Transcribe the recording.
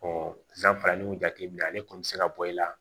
san farali y'u jateminɛ ale kɔni bɛ se ka bɔ i la